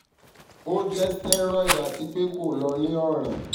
o jẹ steroid ati pe ko lo ni ọran ti tinea versicolor tabi pityriasis versicolor